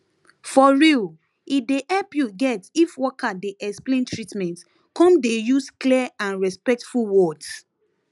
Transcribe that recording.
for real e dey help you get if worker dey explain treatment come dey use clear and respectful words